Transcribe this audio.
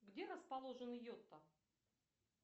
где расположен йота